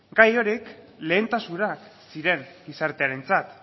gai horiek lehentasunak ziren gizartearentzat